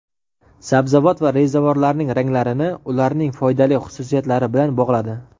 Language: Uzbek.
sabzavot va rezavorlarning ranglarini ularning foydali xususiyatlari bilan bog‘ladi.